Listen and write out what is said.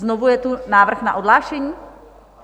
Znovu je tu návrh na odhlášení?